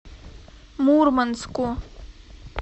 мурманску